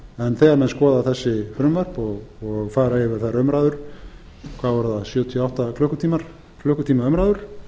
en þegar menn skoða þessi frumvörp og fara yfir þær umræður hvað var það sjötíu og átta klukkutíma umræður